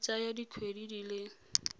e tsaya dikgwedi di le